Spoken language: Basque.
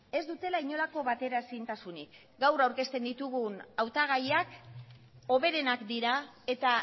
ez dutela inolako batera ezintasunik gaur aurkezten ditugun hautagaiak hoberenak dira eta